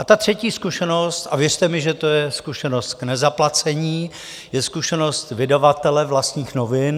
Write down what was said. A ta třetí zkušenost, a věřte mi, že to je zkušenost k nezaplacení, je zkušenost vydavatele vlastních novin